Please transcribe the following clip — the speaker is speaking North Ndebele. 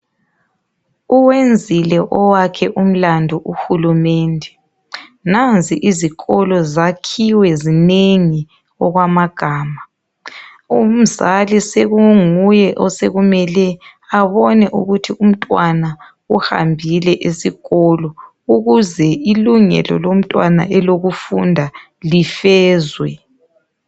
Uwenzile owakhe umlandu uHulumende nanzi izikolo zakhiwe zinengi okwamagama, umzali sekunguye osekumele abone ukuthi umntwana uhambile esikolo ukuze ilungelo elomntwana elokufunda lifezwe.